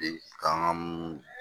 K'an ka mun